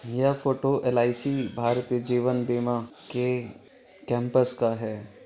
ये photo LIC Bharat Jeevan Bima के campus का है ।